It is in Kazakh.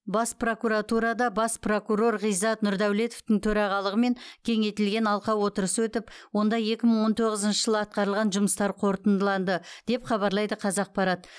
бас прокуратурада бас прокурор ғизат нұрдәулетовтың төрағалығымен кеңейтілген алқа отырысы өтіп онда екі мың он тоғызыншы жылы атқарылған жұмыстар қорытындыланды деп хабарлайды қазақпарат